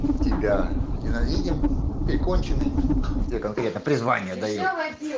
тебя ненавидим ты конченый тебе конкретно призвание даю